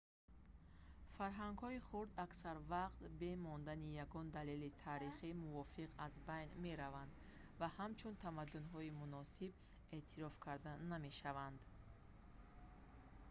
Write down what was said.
фарҳангҳои хурд аксар вақт бе мондани ягон далели таърихии мувофиқ аз байн мераванд ва ҳамчун тамаддунҳои муносиб эътироф карда намешаванд